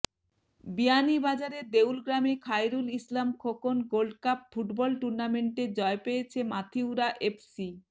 বিয়ানীবাজারের দেউলগ্রামে Khairul Islam Khokon gold cup football টুর্নামেন্টে জয় পেয়েছে মাথিউরা এফসি